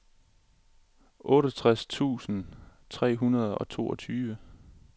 otteogtres tusind tre hundrede og toogtyve